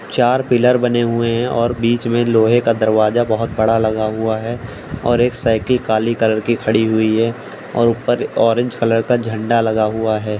चार पिलर बने हुए हैं और बीच में लोहे का दरवाजा बहुत बड़ा लगा हुआ है और एक साइकिल काली कलर की खड़ी हुई है ऊपर ऑरेंज कलर का झंडा लगा हुआ है।